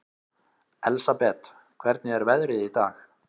Elsabet, hvernig er veðrið í dag?